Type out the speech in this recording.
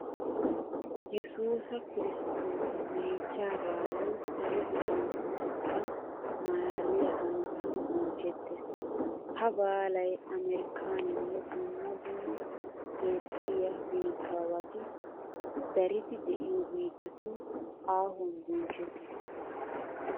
Yesuus kiristtoosa meechchaa baalay salo gufantto xekkan maalaaliya hanotan bonchchettees. Ha baalay amerkkaaninne dumma dumma toophphiya biittaawati daridi de'iyo biittatun aahuwan bonchchettees.